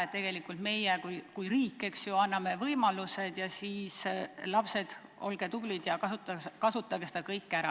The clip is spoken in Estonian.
Tegelikult meie kui riik anname võimalused ja siis, lapsed, olge tublid ja kasutage seda kõike ära.